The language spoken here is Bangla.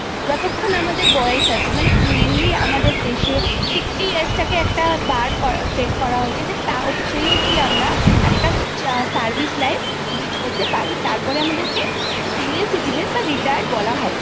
mainly আমাদের দেশে sixty years টাকে একটা bar set করা হয়েছে সেই অবধি আমরা একটা service life lead করতে পারি তারপর আমাদেরকেsenior citizen বা retired বলা হবে I